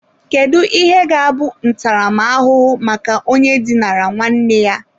Kedu ihe ga-abụ ntaramahụhụ maka onye dinara nwanne ya?